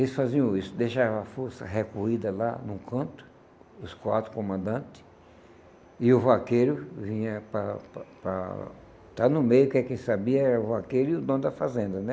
Eles faziam isso, deixavam a força recolhida lá num canto, os quatro comandantes, e o vaqueiro vinha para para para estar no meio, que quem sabia era o vaqueiro e o dono da fazenda, né?